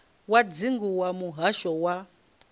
wa dzingu wa muhasho wa